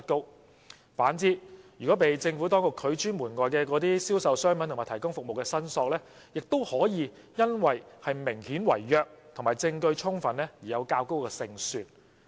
相反，被政府當局拒諸門外的銷售商品和提供服務的申索，亦可以因為明顯違約及證據充分而有較高勝算。